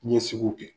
N ye sugu kɛ